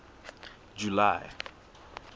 july